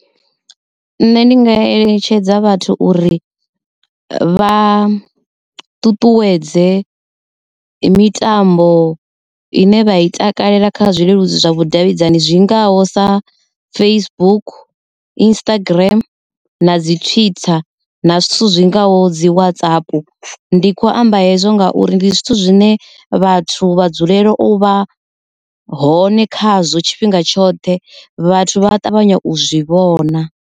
Nṋe ndi nga eletshedza vhathu uri vha ṱuṱuwedze mitambo ine vha i takalela kha zwileludzi zwa vhudavhidzani zwingaho sa Facebook, Instagram na dzi twitter na zwithu zwi ngaho dzi WhatsApp ndi khou amba hezwo ngauri ndi zwithu zwine vhathu vha dzulela u vha hone khazwo tshifhinga tshoṱhe vhathu vha a ṱavhanya u zwi vhona.